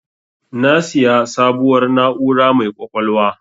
Na siya sabuwar na'ura mai ƙwaƙwalwa